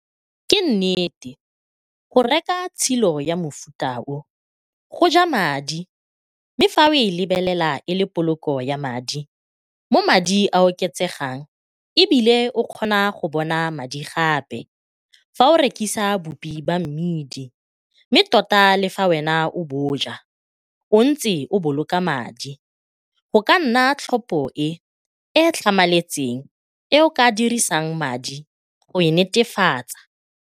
Ke nnete, go reka tshilo ya mofuta o go ja madi mme fa o e lebelela e le poloko ya madi mo madi a oketsegang e bile o kgona go bona madi gape fa o rekisa boupi ba mmidi mme tota le fa wena o bo ja o ntse o boloka madi, go ka nna tlhopho e e tlhamaletseng e o ka dirisang madi go e netefatsa.